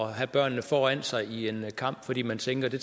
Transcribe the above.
have børnene foran sig i en kamp fordi man tænker at det